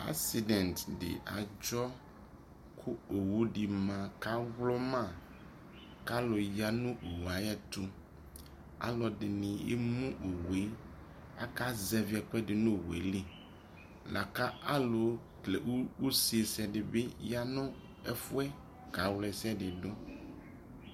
accident di adzɔ kʋ ɔwʋ di ma kʋ awlɔma kʋ alʋ yanʋ ɔwʋɛ ayɛtʋ, alʋɛdini ɛmʋ ɔwʋɛ, aka zɛvi ɛkʋɛdi nʋ ɔwʋɛli lakʋ alʋkɛlɛ ʋzɛ sɛni dibi yanʋ ɛƒʋɛ kawla ɛsɛdi dʋ